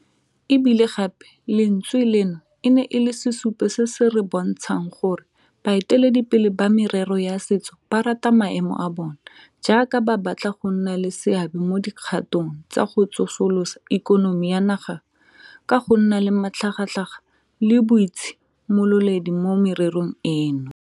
E bile gape lentswe leno e ne e le sesupo se se re bontshang gore bae teledipele ba merero ya setso ba rata maemo a bona jaaka ba batla go nna le seabe mo dikgatong tsa go tsosolosa ikonomi ya naga ka go nna le matlhagatlhaga le boitshi mololedi mo mererong eno.